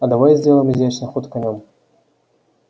а давай сделаем изящный ход конём